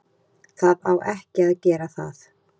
Það á ekki að gera það.